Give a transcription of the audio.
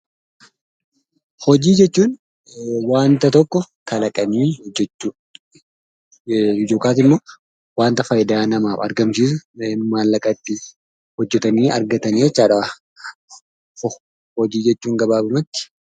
Hojii jechuun waanta tokko kalaqanii hojjechuu yookiin waanta faayidaa namaa argamsiisu hojjetanii maallaqa itti argatan jechuudha.